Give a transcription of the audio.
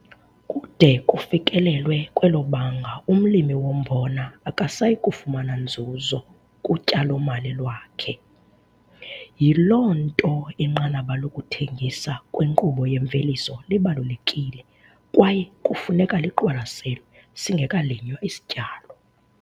Kude kufikelelwe kwelo banga umlimi wombona akasayi kufumana nzuzo kutyalo-mali lwakhe, yiloo nto inqanaba lokuthengisa kwinkqubo yemveliso libalulekile kwaye kufuneka liqwalaselwe singekalinywa isityalo.